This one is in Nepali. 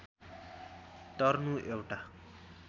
टर्नु एउटा